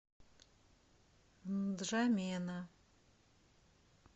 нджамена